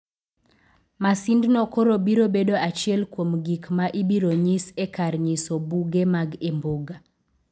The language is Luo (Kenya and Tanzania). Masindno koro biro bedo achiel kuom gik ma ibiro nyis e kar nyiso buge mag Imbuga.